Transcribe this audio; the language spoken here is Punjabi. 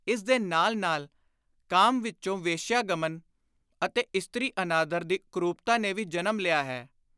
ਇਸਦੇ ਨਾਲ ਨਾਲ ਕਾਮ ਵਿਚੋਂ ਵੇਸ਼ਿਆ-ਗਮਨ ਅਤੇ ਇਸਤ੍ਰੀ-ਅਨਾਦਰ ਦੀ ਕੁਰੂਪਤਾ ਨੇ ਵੀ ਜਨਮ ਲਿਆ ਹੈ।